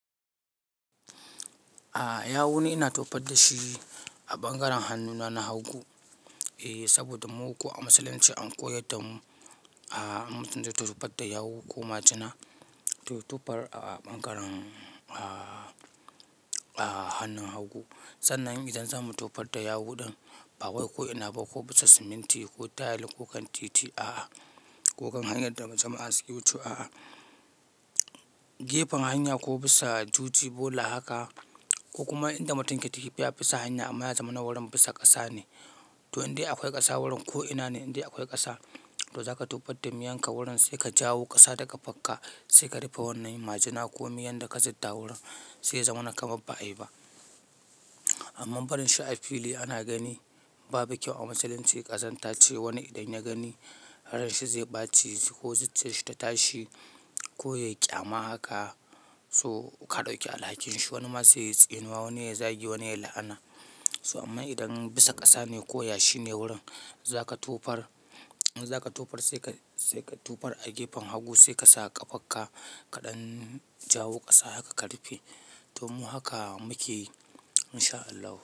Yawu ne ina tofar da shi a ɓangaren hannuna na hagu. Saboda mu kuwa a musulunce an koyar da mu an matsar da tufar da yawu ko majina. To tufar a ɓangaren hannun hagu. Sannan idan zamu tufar da yawu ɗin, ba wai koo inaba ko bisa siminti ko tayil ko kan titi ko kan hanyar da jama'a suke wucewa. Gefen hanya ko bisa juji bola haka ko kuma inda mutum ke tafiya bisa hanya amma ya zamana wurin bisa ƙasa ne. To in dai akwai ƙasa wurin ko ina ne, in dai akwai ƙasa to zaka tufar da miyan ka wurin sai ka jawo ƙasa daga kafarka sai ka rufe wannan majina ko miyau da ka zibda wurin sai ya zamana kamar ba'a yi ba. Amma barin shi a fili ana gani babu kyau a musulunce. Ƙazanta ce wani idan ya gani har shi zai ɓaci ko zuciyarsa ta tashi ko ya ƙyama haka. So ka ɗauki alhakin shi. Wani ma zai yi tsenuwa, wani ya zagi, wani ya la'ana. So amma idan bisa ƙasa ne ko yashi ne wurin zaka tufar, zaka tufar sai ka tufar a gefen hagu sai ka sa ƙafarka kaɗan jawo ƙasa haka ka rufe. To mu haka muke yi insha Allah.